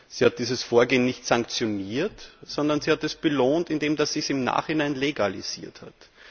Sie hat dieses Vorgehen nicht sanktioniert, sondern sie hat es belohnt, indem sie es im Nachhinein legalisiert hat.